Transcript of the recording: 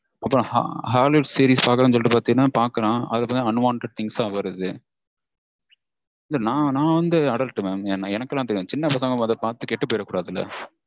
அப்பறம் hollywood series பாக்கறேனு சொல்லிட்டு பாத்தீங்கனா பாக்கறான். அதுல unwanted things ஆ வருது இல்ல நா நா வந்து adult mam. எனக்குலாம் தெரியும். சின்ன பசங்க மொத பாத்துட்டு கெட்டு போயிரக்கூடாதுல